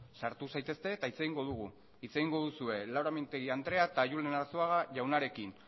sartu zaitezte eta hitz egingo dugu hitz egingo duzue laura mintegi andrea eta julen arzuaga jaunarekin